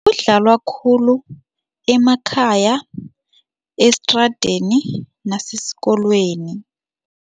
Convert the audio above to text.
Idlalwa khulu emakhaya esitradeni nasesikolweni.